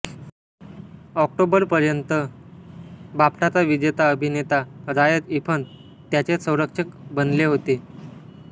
ऑक्टोबरपर्यंत बाफ्टाचा विजेता अभिनेता रायस इफन्स त्याचे संरक्षक बनले होते